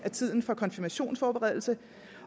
af tiden for konfirmationsforberedelse